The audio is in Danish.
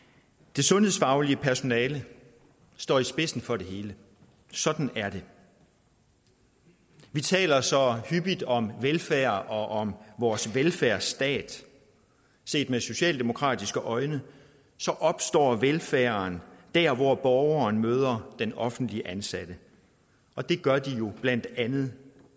det sundhedsfaglige personale står i spidsen for det hele sådan er det vi taler så hyppigt om velfærd og om vores velfærdsstat set med socialdemokratiske øjne opstår velfærden der hvor borgeren møder den offentligt ansatte og det gør de jo blandt andet